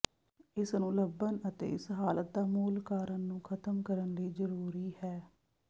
ਇਸ ਨੂੰ ਲੱਭਣ ਅਤੇ ਇਸ ਹਾਲਤ ਦਾ ਮੂਲ ਕਾਰਨ ਨੂੰ ਖਤਮ ਕਰਨ ਲਈ ਜ਼ਰੂਰੀ ਹੈ